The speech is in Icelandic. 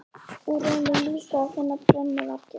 Og reynum líka að finna brennuvarginn.